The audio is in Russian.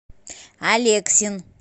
алексин